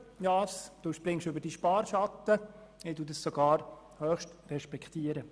Sie springen über Ihren Sparschatten, was ich sogar höchst respektiere.